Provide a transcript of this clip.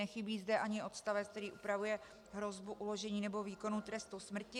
Nechybí zde ani odstavec, který upravuje hrozbu uložení nebo výkonu trestu smrti.